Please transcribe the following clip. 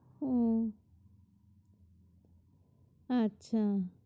উহ আচ্ছা